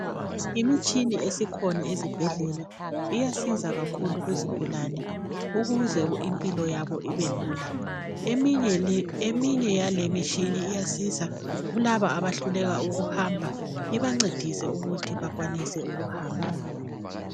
imitshini esikhona ezibhedlela iyasiza kakhulu kuzigulane ukuze impilo yabo ibelula eminye yalemitshini iyasiza kulabo abehluleka ukuhamba ibancedise ukuthi bakwanise ukuhamba